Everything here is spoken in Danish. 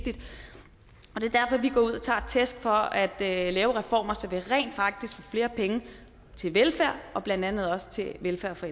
går ud og tager imod tæsk for at lave reformer så vi rent faktisk får flere penge til velfærd blandt andet også til velfærd for